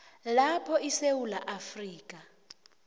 lapho isewula afrika